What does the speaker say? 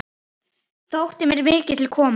Þótti mér mikið til koma.